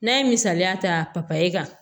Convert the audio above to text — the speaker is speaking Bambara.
N'a ye misaliya ta kan